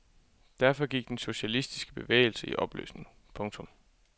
Derfor gik den socialistiske bevægelse i opløsning. punktum